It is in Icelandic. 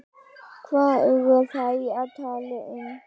Hvað eru þeir að tala um?